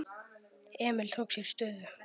Emil tók sér stöðu.